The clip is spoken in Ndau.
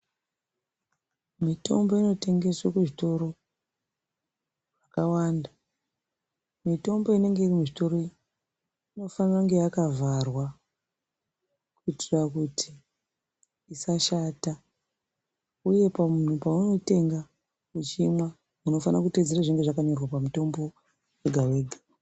Mitombo inotengeswe kuzvitoro zvakawanda. Mitombo inenge iri muzvitoro iyi inofanira kunge yakavharwa kuitira kuti isashata, uyu munhu paunoitenga uchimwa unofanira kuteedzera zvinonga zvakanyorwa pamutombo wega-wega.